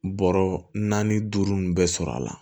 Bɔrɔ naani duuru nin bɛɛ sɔrɔ a la